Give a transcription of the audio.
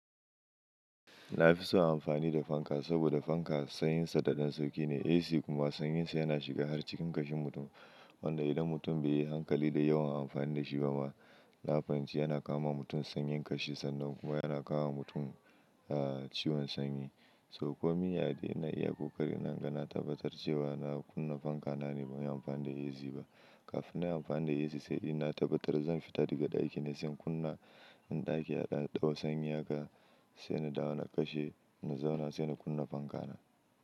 Na fi so amfani da fanka saboda fanka sanyinsa da dan sauƙi ne. AC kuma sanyinsa yana shiga har cikin kashin mutum wanda idan mutum bai yi hankali da yawan amfani da shi ba ma, na fahimci yana kawo ma mutum sanyin kashi sannan kuma yana kawo ma mutum ciwon sanyi. Sauko miya dai ina iya ƙoƙari na naga na tabbatar da cewa na kunna fanka na ne ban yi amfani da AC ba. Kafinnan inyi amfani da AC sai inna tabbatar zan fita daga ɗaki ne sai in kunna ɗaki a daɗaɗɗau sanyi haka sai na dawo na kashe na zauna sai na kunna fanka na.